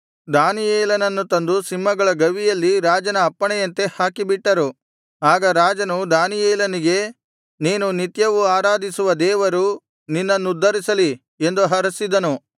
ದಾನಿಯೇಲನನ್ನು ತಂದು ಸಿಂಹಗಳ ಗವಿಯಲ್ಲಿ ರಾಜನ ಅಪ್ಪಣೆಯಂತೆ ಹಾಕಿಬಿಟ್ಟರು ಆಗ ರಾಜನು ದಾನಿಯೇಲನಿಗೆ ನೀನು ನಿತ್ಯವೂ ಆರಾಧಿಸುವ ದೇವರು ನಿನ್ನನ್ನುದ್ಧರಿಸಲಿ ಎಂದು ಹರಸಿದನು